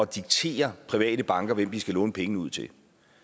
diktere private banker hvem de skal låne penge ud til